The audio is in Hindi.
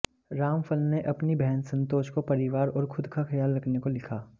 रामफल ने अपनी बहन सन्तोष को परिवार और खुद का ख्याल रखने को लिखा